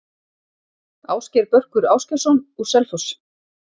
Ásgeir Börkur Ásgeirsson, úr Selfoss